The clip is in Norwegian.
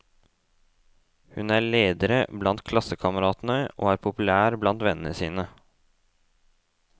Hun er ledere blant klassekameratene, og er populær blant vennene sine.